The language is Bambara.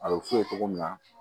A bɛ f'u ye cogo min na